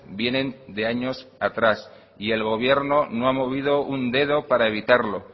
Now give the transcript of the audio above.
vienen de años atrás y el gobierno no ha movido un dedo para evitarlo